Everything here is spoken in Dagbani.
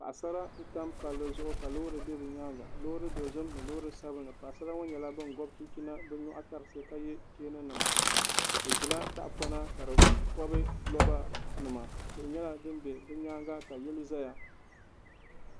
Paɣasara n tam palli zuɣu ka loori bɛ bi nyaanga loori dozim ni loori sabinli paɣasara ŋɔ nyɛla bin gobi chinchina bi nyoɣu tarisi ka yɛ cheeni nima bi ʒila tahapona ka di pobi roba nima tihi nyɛla din bɛ ni nyaanga ka yili ʒɛya